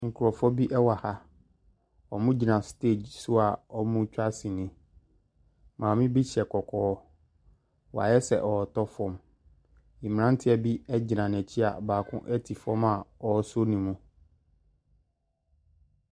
Nkurɔfoɔ wɔ ha. Wɔgyina stage so a wɔretwa sini. Maame bi hyɛ kɔkɔɔ. Wayɛ sɛ ɔretɔ fam. Mmeranteɛ bi gyina n'akyi a baako te fam a wasɔ ne mu.